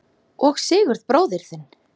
Og Sigurð bróður þinn!